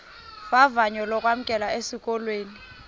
vavanyo lokwamkelwa esikolweni